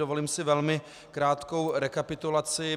Dovolím si velmi krátkou rekapitulaci.